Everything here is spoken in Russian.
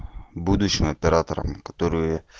будущим операторам которые